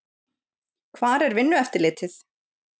Hvar er Vinnueftirlitið?